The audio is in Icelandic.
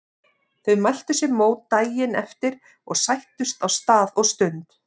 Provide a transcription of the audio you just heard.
Þau mæltu sér mót daginn eftir og sættust á stað og stund.